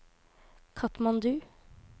Katmandu